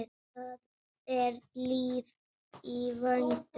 Það er líf í vændum.